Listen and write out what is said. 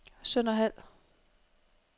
Sønderhald